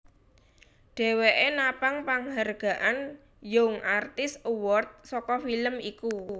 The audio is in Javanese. Dheweke napang panghargaan Young Artist award saka film iku